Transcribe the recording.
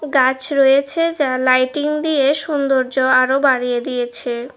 কাঁচ রয়েছে যা লাইটিং দিয়ে সুন্দর্য আরো বাড়িয়ে দিয়েছে।